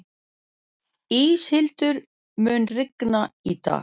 Íshildur, mun rigna í dag?